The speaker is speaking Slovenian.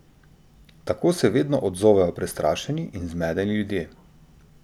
Tako se vedno odzovejo prestrašeni in zmedeni ljudje.